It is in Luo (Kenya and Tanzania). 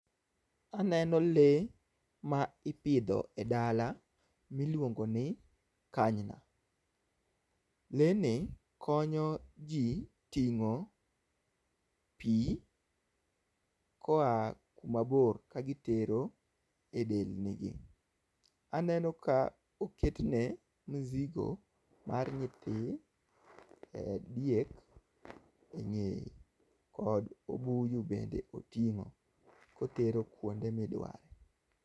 Aneno lee ma ipidho e dala miluongo ni kanyna. Lee ni konyo ji ting'o pi koa kuma bor kagitero e delnigi. Aneno ka oketne mzigo mar nyithi diek e ng'eye kod obuyu bende oting'o kotero kuonde midware